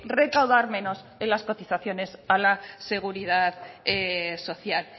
recaudar menos en las cotizaciones a la seguridad social